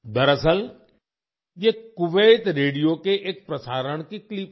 दरअसल ये Kuwait radio के एक प्रसारण की क्लिप है